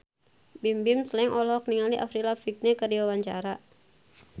Bimbim Slank olohok ningali Avril Lavigne keur diwawancara